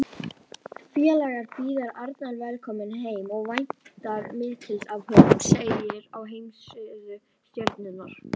Félagið býður Arnar velkominn heim og væntir mikils af honum, segir á heimasíðu Stjörnunnar.